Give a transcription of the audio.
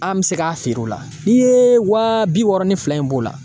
An bɛ se k'a feere o la, n'i ye wa bi wɔɔrɔ ni fila in b'o la